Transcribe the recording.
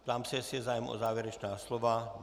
Ptám se, jestli je zájem o závěrečná slova?